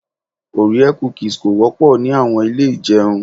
Orea cookies kò wópò ni àwon Ilé ijeun